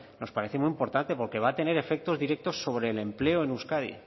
nos parece muy importante porque va a tener efectos directos sobre el empleo en euskadi